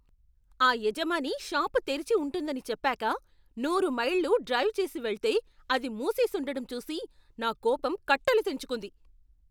ఆ యజమాని షాపు తెరిచి ఉంటుందని చెప్పాక నూరు మైళ్ళు డ్రైవ్ చేసి వెళ్తే అది మూసేసుండడం చూసి నా కోపం కట్టలు తెంచుకుంది.